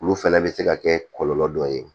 Olu fana bɛ se ka kɛ kɔlɔlɔ dɔ ye